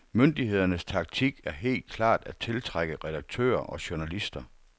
Myndighedernes taktik er helt klart at tiltrække redaktører og journalister.